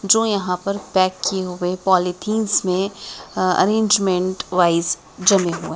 जो यहाँ पर पैक किए हुए पॉलीथिनस में अरेंजमेंट वाइज जमे हुए है।